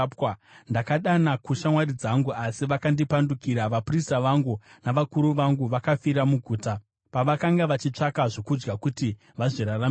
“Ndakadana kushamwari dzangu asi vakandipandukira. Vaprista vangu navakuru vangu vakafira muguta, pavakanga vachitsvaka zvokudya kuti vazviraramise.